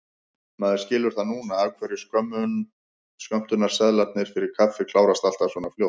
Maður skilur það núna af hverju skömmtunarseðlarnir fyrir kaffið klárast alltaf svona fljótt!